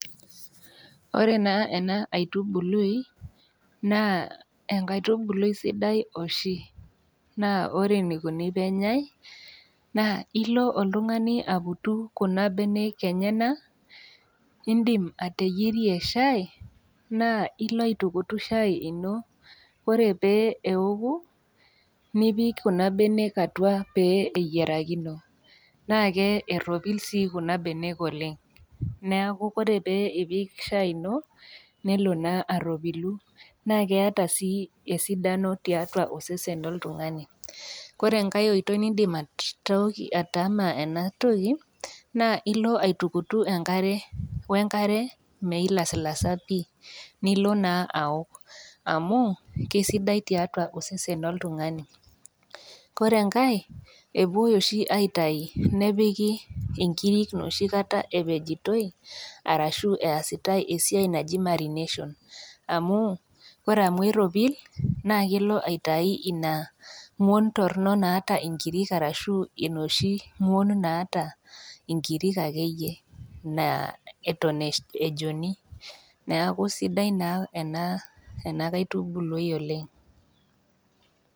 Ore naa ena aitubului, naa enkaitubulu sudai oshi, naa ore eneikuni pee enyai, naa ilo oltung'ani aputu Kuna benek enyena niindim ateyierie shaai naa ilo aitukutu shaai ino, ore pee eoku, nipik Kuna benek atua pee eyirakino, naake eropil sii Kuna benek oleng' neaku ore pee ipik shaai ino nelo naa aropilu, naa keata sii esidano tiatua osesen loltung'ani. Kore enkai oitoi niindim atama ena toki, naa ilo aitukutu we enkare meilasilasa pii, nilo naa aok, amu keisidai tiatua osesen loltung'ani. Ore enkai, epuoi oshi aitayu nepiki inkiri nooshi kata epijitoi, ashu nooshi kata easitai marination amu ore amu eropil naa kelo aitayu Ina ng'uon torino naata inkirik arashu enooshi ng'uon naata inkirik ake iyie naa eton ejoni, neaku sidai naa ena kaitubului oleng'.